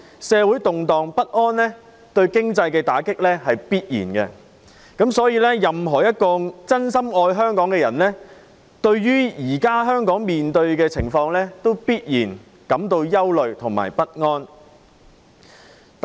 社會動盪不安必然對經濟造成打擊，所以任何一個真心愛香港的人，對於現時香港面對的情況必然感到憂慮不安。